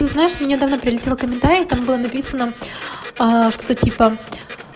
ну знаешь мне недавно прилетело комментарий там было написано что-то типа